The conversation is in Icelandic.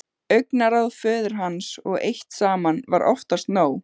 Augnaráð föður hans eitt saman var oftast nóg.